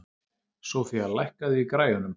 Sofía, lækkaðu í græjunum.